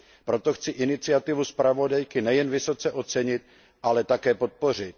Proto chci iniciativu zpravodajky nejen vysoce ocenit, ale také podpořit.